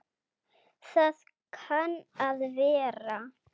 Það kann að vera.